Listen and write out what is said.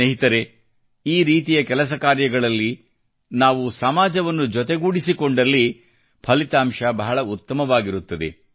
ಸ್ನೇಹಿತರೇ ಈ ರೀತಿಯ ಕೆಲಸ ಕಾರ್ಯಗಳಲ್ಲಿ ನಾವು ಸಮಾಜವನ್ನು ಜೊತೆಗೂಡಿಸಿಕೊಂಡಲ್ಲಿ ಫಲಿತಾಂಶ ಬಹಳ ಉತ್ತಮವಾಗಿರುತ್ತದೆ